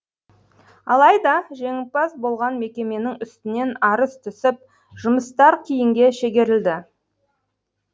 алайда жеңімпаз болған мекеменің үстінен арыз түсіп жұмыстар киінге шегерілді